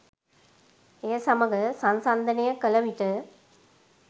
එය සමග සංසන්දනය කළ විට